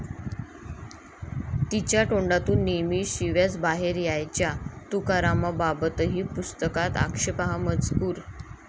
तिच्या तोंडातून नेहमी शिव्याच बाहेर यायच्या', तुकारामांबाबतही पुस्तकात आक्षेपार्ह मजकूर